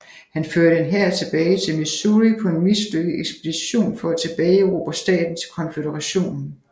Han førte en hær tilbage til Missouri på en mislykket ekspedition for at tilbageerobre staten til Konføderationen